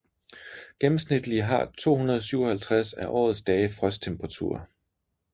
Gennemsnitlige har 257 af årets dage frosttemperaturer